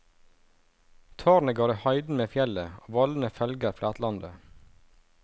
Tårnet går i høyden med fjellet, og vollene følger flatlandet.